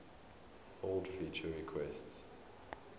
old feature requests